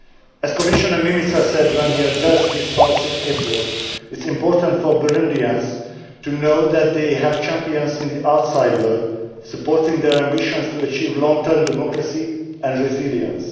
As Commissioner Mimica said when he addressed this House in April, it is important for Burundians to know that they have champions in the outside world supporting their ambitions to achieve long term democracy and resilience.